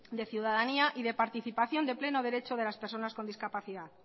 de ciudadanía y de participación de pleno derecho de las personas con discapacidad